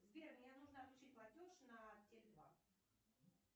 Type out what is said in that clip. сбер мне нужно отключить платеж на теле два